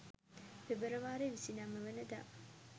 පෙබරවාරි 29 වන දා